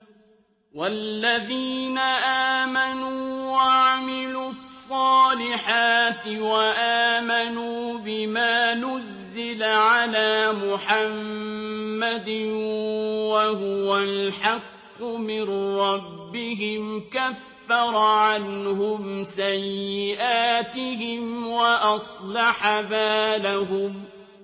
وَالَّذِينَ آمَنُوا وَعَمِلُوا الصَّالِحَاتِ وَآمَنُوا بِمَا نُزِّلَ عَلَىٰ مُحَمَّدٍ وَهُوَ الْحَقُّ مِن رَّبِّهِمْ ۙ كَفَّرَ عَنْهُمْ سَيِّئَاتِهِمْ وَأَصْلَحَ بَالَهُمْ